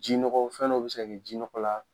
Ji nɔgɔ , fɛn dɔ be se ka kɛ ji nɔgɔ la